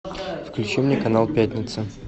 включи мне канал пятница